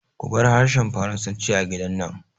Kubar harshen Faransanci a gidan nan!